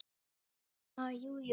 Ha, jú, jú